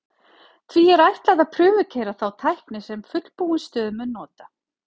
Því er ætlað að prufukeyra þá tækni sem fullbúin stöð mun nota.